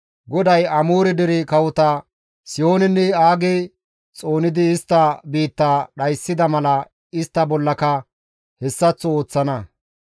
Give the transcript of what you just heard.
GODAY Amoore dere kawota Sihoonenne Aage xoonidi istta biittaa dhayssida mala istta bollaka hessaththo ooththana.